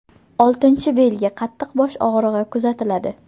Oltinchi belgi qattiq bosh og‘rig‘i kuzatiladi.